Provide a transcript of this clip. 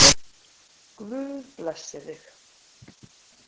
Guð blessi þig.